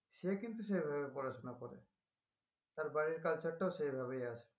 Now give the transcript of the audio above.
সে কিন্তু সেভাবে পড়াশোনা করে তার বাড়ির culture টাও সেইভাবেই আছে